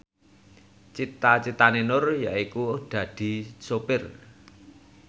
cita citane Nur yaiku dadi sopir